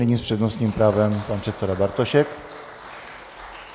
Nyní s přednostním právem pan předseda Bartošek.